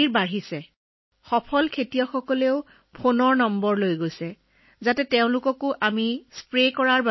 বহু মাটি থকা কৃষকসকলেও আমাৰ ফোন নম্বৰ লৈ ড্ৰোনৰ জৰিয়তে নিজৰ পথাৰত স্প্ৰে কৰে